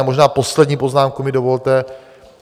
A možná poslední poznámku mi dovolte.